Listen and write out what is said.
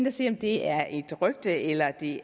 at se om det er et rygte eller det